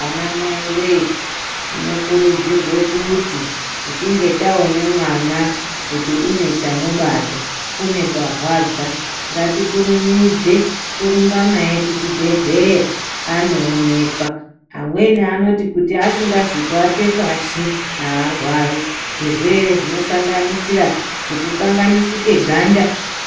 Ana mai wee tinokurudzirwekuti tichinge taone mwana kuti unechamubata uneparwadza ngatikurumidze kurumba naye kuchibhedhlera anoonekwa amweni anoti kuti asingazi kuatepashi arwari. Zvirwere zvinosanganisira zvekukanganisike ganda